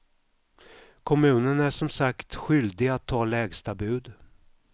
Kommunen är som sagt skyldig att ta lägsta bud.